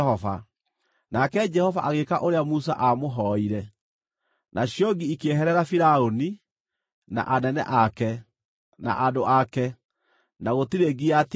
nake Jehova agĩĩka ũrĩa Musa aamũhoire; nacio ngi ikĩeherera Firaũni, na anene ake, na andũ ake, na gũtirĩ ngi yatigarire.